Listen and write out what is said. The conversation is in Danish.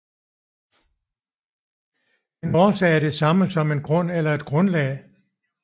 En årsag er det samme som en grund eller et grundlag